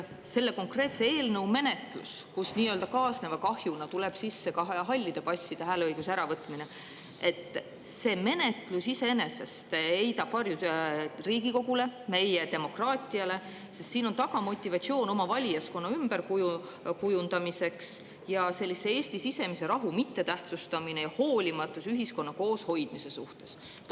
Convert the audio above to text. Selle konkreetse eelnõu menetlus, kus nii-öelda kaasneva kahjuna tuleb sisse ka hallide passide hääleõiguse äravõtmine, heidab iseenesest varju Riigikogule ja meie demokraatiale, sest siin on taga motivatsioon oma valijaskonna ümberkujundamiseks, Eesti sisemise rahu mittetähtsustamine ja hoolimatus ühiskonna kooshoidmise suhtes.